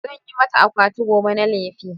Zan yi mata akwati goma na lefe